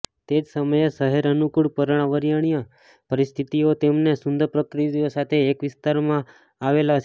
તે જ સમયે શહેર અનુકૂળ પર્યાવરણીય પરિસ્થિતિઓ અને સુંદર પ્રકૃતિ સાથે એક વિસ્તાર આવેલો છે